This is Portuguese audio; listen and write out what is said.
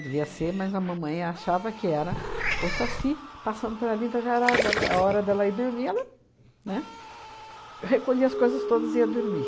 Devia ser, mas a mamãe achava que era o Saci passando por ali, então já era dela é hora dela ir dormir, ela, né, recolhia as coisas todas e ia dormir.